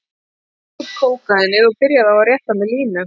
Hann tók upp kókaínið og byrjaði á að rétta mér línu.